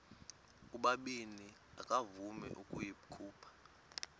ubabini akavuma ukuyikhupha